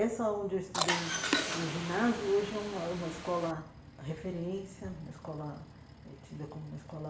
Essa onde eu estudei o ginásio hoje é uma uma escola referência, uma escola eh tida como uma escola